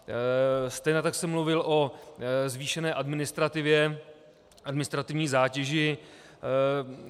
Stejně tak jsem mluvil o zvýšené administrativě, administrativní zátěži.